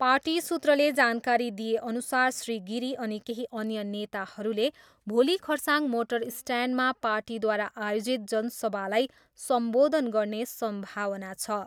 Party सूत्रले जानकारी दिएअनुसार श्री गिरी अनि केही अन्य नेताहरूले भोलि खरसाङ मोटर स्ट्यान्डमा पार्टीद्वारा आयोजित जनसभालाई सम्बोधन गर्ने सम्भावना छ।